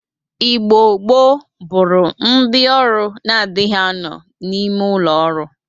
Igbo gboo bụrụ ndị ọrụ na-adịghị anọ n'ime ụlọ ọrụ.